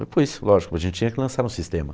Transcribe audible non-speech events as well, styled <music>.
<unintelligible> lógico, a gente tinha que lançar no sistema.